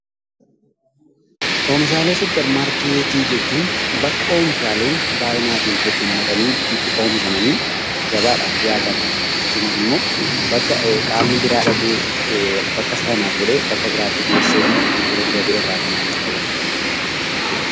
Oomishaalee suppermaarkeetii jechuun bakka oomishaaleen baay'inaatiin heddummatanii itti oomishamanii gabaadhaaf dhiyaatan akkasumas immoo, bakka qaamni biraa dhaqee bakka sanaa fuudhee bakka biraatti geessee immoo itti gurguratee irraa maallaqa argatu dha.